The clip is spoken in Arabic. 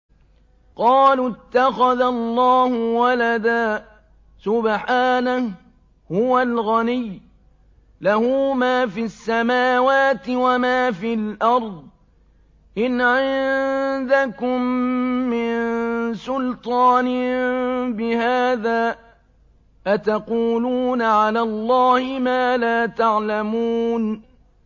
قَالُوا اتَّخَذَ اللَّهُ وَلَدًا ۗ سُبْحَانَهُ ۖ هُوَ الْغَنِيُّ ۖ لَهُ مَا فِي السَّمَاوَاتِ وَمَا فِي الْأَرْضِ ۚ إِنْ عِندَكُم مِّن سُلْطَانٍ بِهَٰذَا ۚ أَتَقُولُونَ عَلَى اللَّهِ مَا لَا تَعْلَمُونَ